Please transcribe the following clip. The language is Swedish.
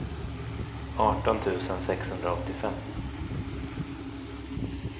arton tusen sexhundraåttiofem